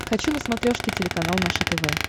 хочу на смотрешке телеканал наше тв